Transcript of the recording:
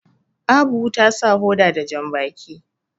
Abu ta sa hoda da jambaki